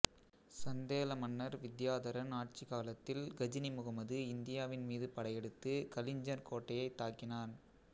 சந்தேல மன்னர் வித்தியாதரன் ஆட்சிக் காலத்தில் கஜினி முகமது இந்தியாவின் மீது படையெடுத்து கலிஞ்சர் கோட்டையை தாக்கினான்